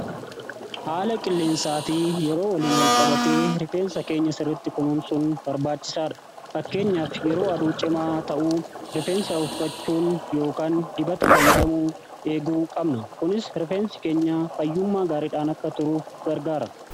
haala qilleensaa fi yeroo waliin walqabate rifeensa keenya sirritti kunuun sun barbaachisaadha fakkeenyaaf yeroo aduu cimaa ta'uu rifeensa uffachuun yookaan dibata fayyadamuu eeguu qabna kunis rifeensi keenya fayyummaa gaariidhaan akka turuuf gargaara